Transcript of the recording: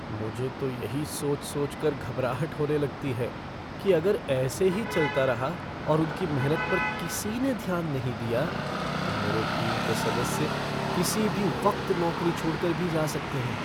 मुझे तो यही सोच सोचकर घबराहट होने लगती है कि अगर ऐसे ही चलता रहा और उनकी मेहनत पर किसी ने ध्यान नहीं दिया, तो मेरे टीम के सदस्य किसी भी वक्त नौकरी छोड़कर भी जा सकते हैं ।